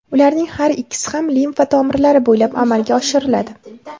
Ularning har ikkisi ham limfa tomirlari bo‘ylab amalga oshiriladi.